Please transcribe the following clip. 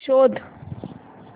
शोध